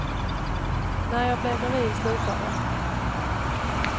När jag blev gravid slutade jag.